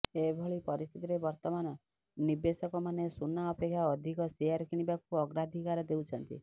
ଏଭଳି ପରିସ୍ଥିତିରେ ବର୍ତ୍ତମାନ ନିବେଶକମାନେ ସୁନା ଅପେକ୍ଷା ଅଧିକ ସେୟାର କିଣିବାକୁ ଅଗ୍ରାଧିକାର ଦେଉଛନ୍ତି